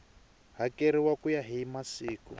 hakeriwa ku ya hi masiku